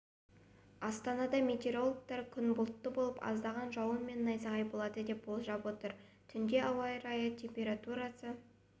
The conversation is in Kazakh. астанада метеорологтар күн бұлтты болып аздаған жауын мен найзағай болады деп болжап отыр түнде ауа температурасы